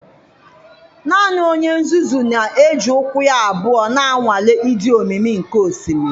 Naanị onye nzuzu na-eji ụkwụ ya abụọ na-anwale ịdị omimi nke osimiri”.